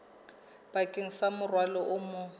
bakeng sa morwalo o mong